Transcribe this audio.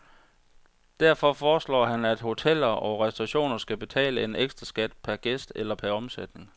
Derfor foreslår han, at hoteller og restauranter skal betale en ekstraskat per gæst eller per omsætning.